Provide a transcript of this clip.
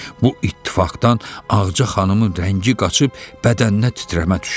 Bu ittifaqdan Ağca xanımın rəngi qaçıb bədəninə titrəmə düşdü.